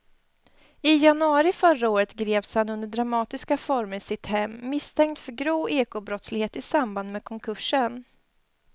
I januari förra året greps han under dramatiska former i sitt hem misstänkt för grov ekobrottslighet i samband med konkursen.